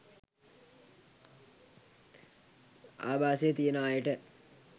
ආභාසය තියෙන අයට